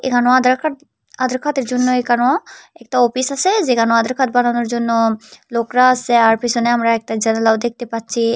এখানো Aadhaar card Aadhaar কার্ডের জন্য এখানো একটা অফিস আছে যেখানো আধার কার্ড বানানোর জন্য লোকরা আছে আর পিছনে আমরা একটা জানালাও দেখতে পাচ্ছি।